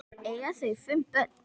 Eiga þau fimm börn.